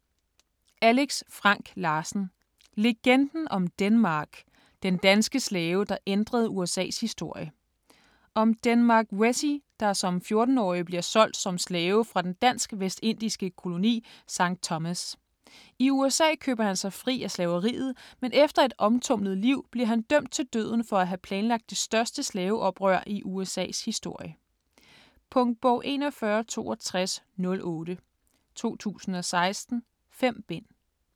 Larsen, Alex Frank: Legenden om Denmark: den danske slave der ændrede USA's historie Om Denmark Vesey, der som 14-årig bliver solgt som slave fra den dansk-vestindiske koloni Sankt Thomas. I USA køber han sig fri af slaveriet, men efter et omtumlet liv bliver han dømt til døden for at have planlagt det største slaveoprør i USAs historie. Punktbog 416208 2016. 5 bind.